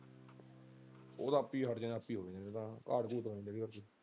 ਉਹ ਤਾਂ ਆਪੇ ਹੀ ਹੱਟ ਜਾਂਦੇ ਆਪੇ ਹ ਹੋ ਜਾਂਦੇ ਨੇ ਉਹ ਤਾਂ .